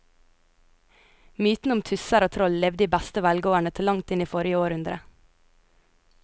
Mytene om tusser og troll levde i beste velgående til langt inn i forrige århundre.